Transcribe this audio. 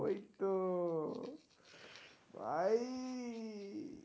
ওই তো আই.